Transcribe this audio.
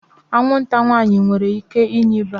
Anwụnta nwaanyị nwere ike inye ịba